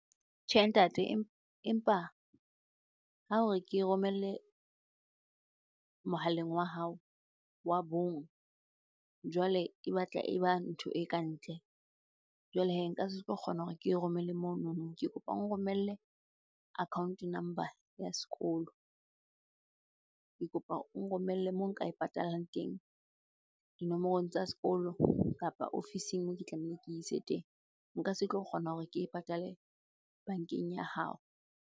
Tjhe ntate, empa ha o re ke e romelle mohaleng wa hao wa bong, jwale e batla e ba ntho e ka ntle. Jwale hee, nka se tlo kgona hore ke e romelle monono. Ke kopa o nromelle account number ya sekolo. Ke kopa o nromelle moo nka e patalang teng, dinomorong tsa sekolo kapa office-eng moo ke tlameileng ke ise teng. Nka se tlo kgona hore ke e patale bankeng ya hao.